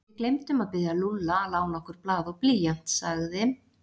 Við gleymdum að biðja Lúlla að lána okkur blað og blýant sagði